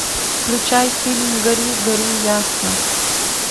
включай фильм гори гори ясно